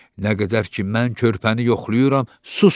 Nə qədər ki, mən körpəni yoxlayıram, susun.